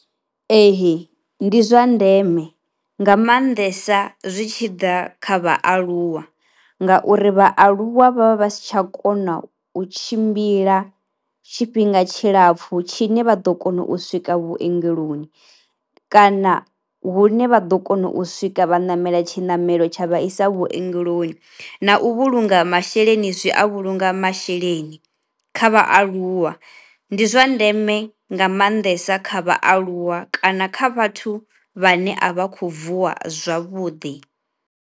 Ee ndi zwa ndeme nga maanḓesa zwi tshi ḓa kha vhaaluwa ngauri vhaaluwa vha vha vha si tsha kona u tshimbila tshifhinga tshilapfhu tshine vha ḓo kona u swika vhuongeloni kana hune vha ḓo kona u swika vha ṋamela tshinamelo tsha vha isa vhuongeloni. Na u vhulunga masheleni zwi a vhulunga masheleni kha vhaaluwa, ndi zwa ndeme nga maanḓesa kha vhaaluwa kana kha vhathu vhane a vha khou vuwa zwavhuḓi.